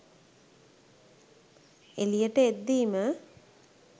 එළියට එද්දීම